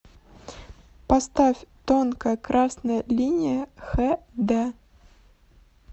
поставь тонкая красная линия хэ дэ